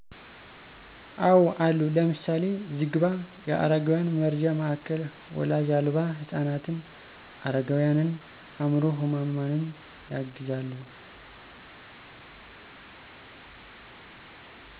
አወ አሉ። ለምሳሌ፦ ዝግባ የአረጋውያን መርጃ ማዕከል ወላጅ አልባ ህፃናትን፣ አረጋውያንን፣ አምዕሮ ህሙማንን ያግዛሉ።